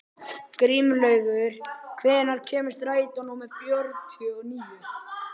Grímlaugur, hvenær kemur strætó númer fjörutíu og níu?